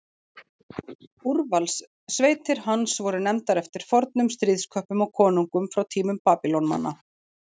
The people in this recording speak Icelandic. Úrvalssveitir hans voru nefndar eftir fornum stríðsköppum og konungum frá tímum Babýloníumanna.